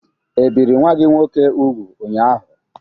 Ebiri nwa gị nwoke úgwù ụnyaahụ?